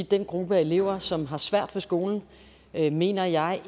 den gruppe af elever som har svært ved skolen mener jeg